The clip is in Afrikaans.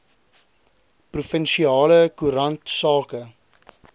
provinsiale koerant sake